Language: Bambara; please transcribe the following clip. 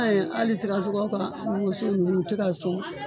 ye hali sikasow ka wuso ninnu u tɛ ka sɔn